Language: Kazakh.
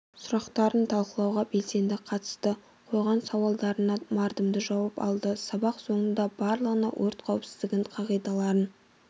сұрақтарын талқылауға белсенді қатысты қойған сауалдарына мардымды жауап алды сабақ соңында барлығына өрт қауіпсіздігін қағидаларын